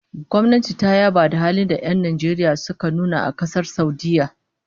Gwamnati ta yaba halin da'a da 'yan Najeriya suka nuna a Kasar Saudiyya